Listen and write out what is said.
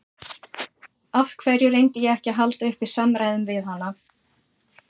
Af hverju reyndi ég ekki að halda uppi samræðum við hana?